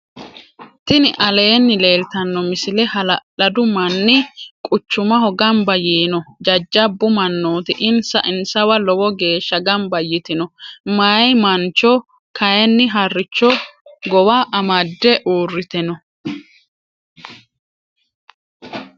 tini aleni leltano misile .hala'ladu maani quchumaho ganba yiino. jajabu manoti insa insawa loowo gesha ganba yiitino. mayi mancho kayinni haaricho gowa amade urite noo.